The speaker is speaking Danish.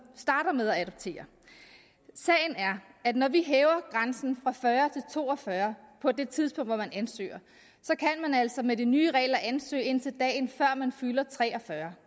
starter med at adoptere sagen er at når vi hæver grænsen fra fyrre til to og fyrre år på det tidspunkt hvor man ansøger så kan man altså med de nye regler ansøge indtil dagen før man fylder tre og fyrre